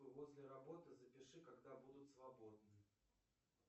после работы запиши когда будут свободны